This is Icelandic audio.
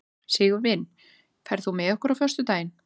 Sigurvin, ferð þú með okkur á föstudaginn?